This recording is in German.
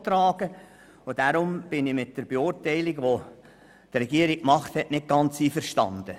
Deshalb bin ich mit der Beurteilung der Regierung nicht ganz einverstanden.